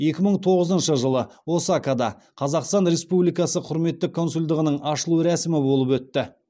екі мың тоғызыншы жылы осакада қазақстан республикасы құрметті консулдығының ашылу рәсімі болып өтті